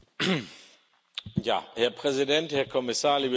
Herr Präsident, Herr Kommissar, liebe Kolleginnen und Kollegen!